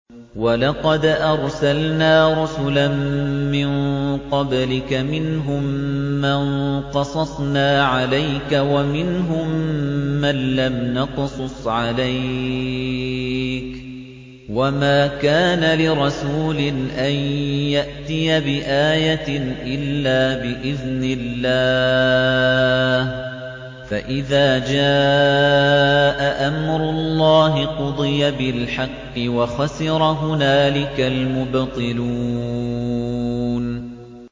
وَلَقَدْ أَرْسَلْنَا رُسُلًا مِّن قَبْلِكَ مِنْهُم مَّن قَصَصْنَا عَلَيْكَ وَمِنْهُم مَّن لَّمْ نَقْصُصْ عَلَيْكَ ۗ وَمَا كَانَ لِرَسُولٍ أَن يَأْتِيَ بِآيَةٍ إِلَّا بِإِذْنِ اللَّهِ ۚ فَإِذَا جَاءَ أَمْرُ اللَّهِ قُضِيَ بِالْحَقِّ وَخَسِرَ هُنَالِكَ الْمُبْطِلُونَ